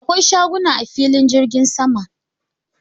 Akwai shaguna a filin jirgin sama.